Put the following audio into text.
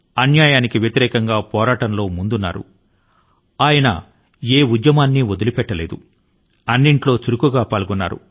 అన్యాయాని కి వ్యతిరేకం గా గొంతెత్తడానికి చిన్నప్పటి శ్రీమాన్ నరసింహా రావు ఎప్పుడూ ముందున్నారు